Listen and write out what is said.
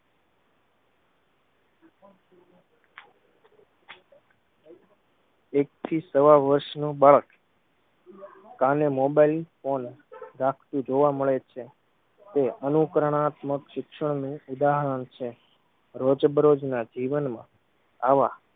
એકથી સવા વર્ષ નું બાળક કાને મોબાઈલ ફોન રાખતુ જોવા મળે છે. તે અનુકરણાત્મક શિક્ષણ નું ઉદાહરણ છે. રોજ બરોજ ના જીવન માં આવા